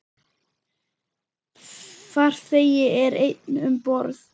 Farþegi er einn um borð.